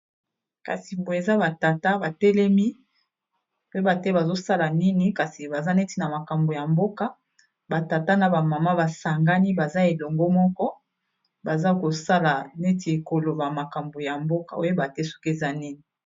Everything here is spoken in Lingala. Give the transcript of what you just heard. kasi eza batata batelemi soki bazosala nini toyebi te kasi baza neti na makambo ya mboka batata na ba maman basangani baza elongo moko baza kosala neti bakoloba makambo ya mboka okoyebate soki eza nini